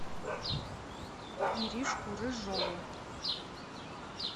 иришку рыжову